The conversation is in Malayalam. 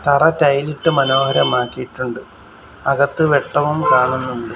തറ ടൈലിട്ട് മനോരമാക്കിയിട്ടുണ്ട് അകത്ത് വെട്ടവും കാണുന്നുണ്ട്.